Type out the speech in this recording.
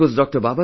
It was Dr